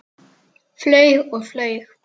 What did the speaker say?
Flaug og flaug.